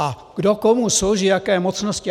A kdo komu slouží, jaké mocnosti...